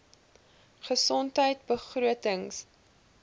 gesondheidbegrotings